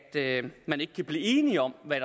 man ikke kan blive enige om hvad